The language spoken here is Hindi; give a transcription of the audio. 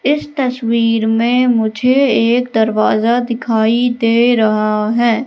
इस तस्वीर में मुझे एक दरवाजा दिखाई दे रहा है।